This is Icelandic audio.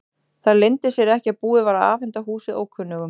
Það leyndi sér ekki að búið var að afhenda húsið ókunnugum.